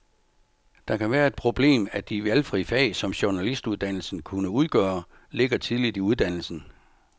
Det kan være et problem, at de valgfri fag, som journalistuddannelsen kunne udgøre, ligger tidligt i uddannelsen.